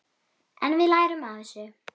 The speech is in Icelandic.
En við lærum af þessu.